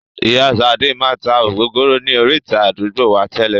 Ìyá sade máa tá ògógóró ni orita àdúgbò wá tẹ́lè